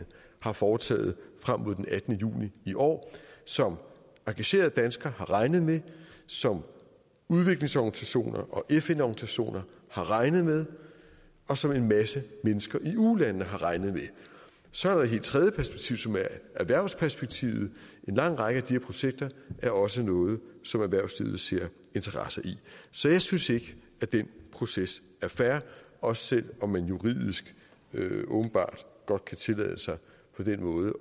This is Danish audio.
har foretaget frem mod den attende juni i år som engagerede danskere har regnet med som udviklingsorganisationer og fn organisationer har regnet med og som en masse mennesker i ulandene har regnet med så er der et helt tredive perspektiv som er erhvervsperspektivet en lang række af de her projekter er også noget som erhvervslivet ser interesser i så jeg synes ikke at den proces er fair også selv om man juridisk åbenbart godt kan tillade sig på den måde